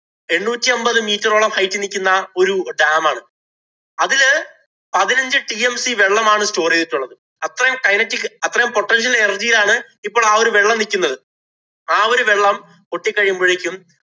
എണ്ണൂറ്റി അമ്പത് meter ഓളം hight ഇല്‍ നില്‍ക്കുന്ന ഒരു dam ആണ്. അതില് പതിനഞ്ചു tmc വെള്ളമാണ് store ചെയ്തിട്ടുള്ളത്. അത്രയും kinetic അത്രയും potential energy യിലാണ് ഇപ്പൊ ആ ഒരു വെള്ളം നിക്കുന്നത്. ആ ഒരു വെള്ളം പൊട്ടി കഴിയുമ്പോഴേക്കും